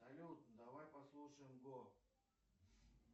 салют давай послушаем го